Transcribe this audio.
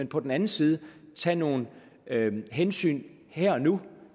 på den anden side at tage nogle hensyn her og nu